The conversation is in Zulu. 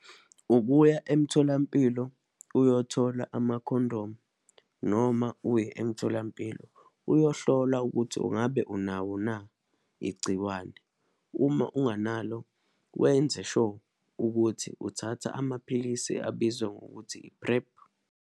Ukuya emtholampilo uyothola amakhondomu, noma uye emtholampilo uyohlola ukuthi ungabe unawo na, igciwane. Uma unganalo, wenze sure ukuthi uthatha amaphilisi abizwa ngokuthi i-PrEP.